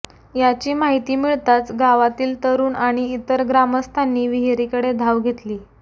याची माहिती मिळताच गावातील तरूण आणि इतर ग्रामस्थांनी विहिरीकडे धाव घेतली